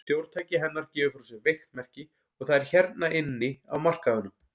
Stjórntæki hennar gefur frá sér veikt merki, og það er hérna inni á markaðnum.